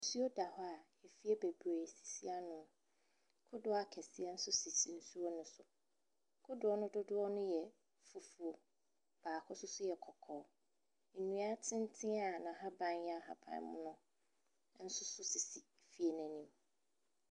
Nsuo da hɔ a fie bebree sisi ano. Kodoɔ akɛseɛ nso sisi nsuo ne so. Kodoɔ no dodoɔ yɛ fufuo na bi nso yɛ kɔkɔɔ. Nnua tenten a n’ahaban no yɛ ahabanmono nso sisi fie n’anim.